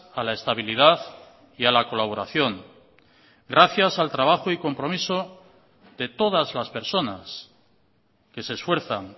a la estabilidad y a la colaboración gracias al trabajo y al compromiso de todas las personas que se esfuerzan